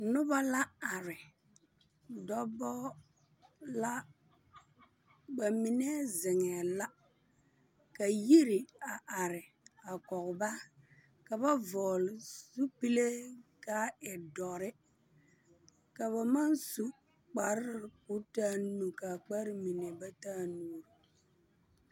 Nobɔ la are, dɔɔbɔ la. Ba mine zeŋɛɛ la ka yiri a are a koge ba. Ka ba vɔgele zupelee ka a e doɔre. Ka ba maŋ su kparre koo taa nu, kparre mine ba taa nuuri.